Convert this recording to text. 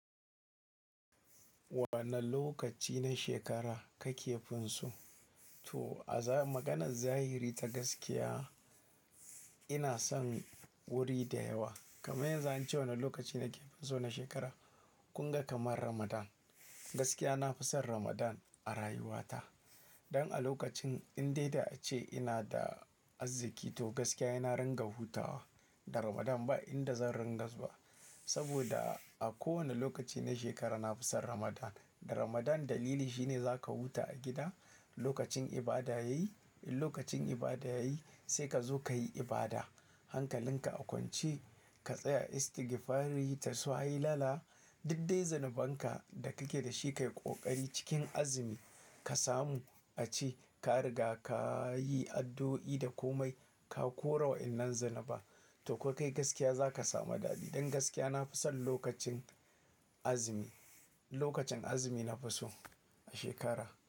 Wane lokaci na shekara kake finsu? To a maganar zahiri ta gaskiya ina son wuri da yawa. Kamin yanzu ace wane lokaci nake finsu na shekara? Kun ga kamar Ramadan. Gaskiya na fi son Ramadan a rayuwata. Dan a lokacin in dai da ace ina da arziki to gaskiya ina ringa hutawa. Da Ramadan ba inda zan ringa zuwa. Saboda a kowane lokaci na shekara na fi son Ramadan. Da Ramadan dalili shine zaka huta a gida lokacin ibada yayi, in lokacin ibada yayi sai ka zo ka yi ibada. Hankalin ka a kwance ka tsaya istigifari dasu hailala. Dukdai zunubanka da kake da shi ka yi kokari cikin azumi ka samu a ci ka riga ka yi addu'o'i da komai ka korewa wannan zunuban. To kokai gaskiya zaka samu dalili. Don gaskiya na fi son lokacin azumi, lokacin azumi na fi so a shekara.